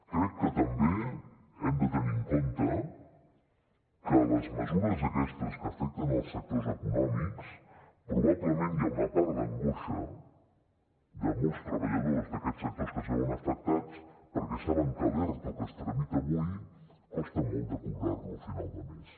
crec que també hem de tenir en compte que les mesures aquestes que afecten els sectors econòmics probablement hi ha una part d’angoixa de molts treballadors d’aquests sectors que es veuen afectats perquè saben que l’erto que es tramita avui costa molt de cobrar lo a final de mes